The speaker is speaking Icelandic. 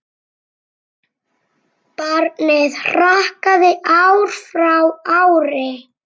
Barninu hrakaði ár frá ári.